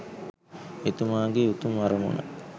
එතුමාගේ උතුම් අරමුණ